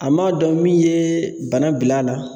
A m'a dɔn min ye bana bil'a la.